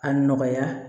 A nɔgɔya